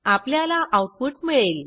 आपल्याला आऊटपुट मिळेल